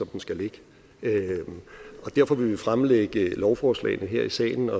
den skal ligge og derfor vil vi jo fremlægge lovforslagene her i salen